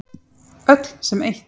Öll sem eitt.